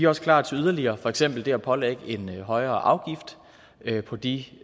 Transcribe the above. også klar til yderligere for eksempel det at pålægge en højere afgift på de